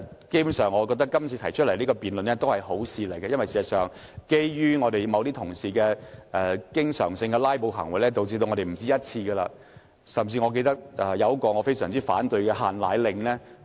基本上，我覺得今次提出這項辯論是好事，因為事實上，由於某些同事經常性的"拉布"行為，我們不止一次無法就規例表達立場，包括一項我非常反對的"限奶令"相關規例。